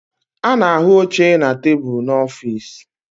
A na-ahụ oche na tebụlu n'ọfịs